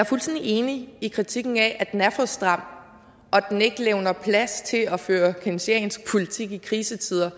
fuldstændig enig i kritikken af at den er for stram og at den ikke levner plads til at føre keynesiansk politik i krisetider